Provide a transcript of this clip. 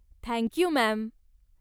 Thank you, ma'am.